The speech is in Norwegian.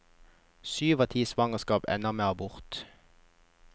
Syv av ti svangerskap ender med abort.